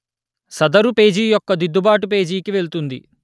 సదరు పేజీ యొక్క దిద్దుబాటు పేజీకి వెళ్తుంది